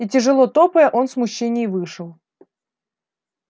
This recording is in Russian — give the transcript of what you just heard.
и тяжело топая он в смущении вышел